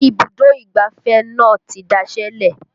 Ibùdó ìgbáfẹ́ náà ti daṣẹ́ lẹ̀